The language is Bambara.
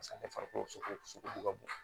Paseke ale farikolo ka bon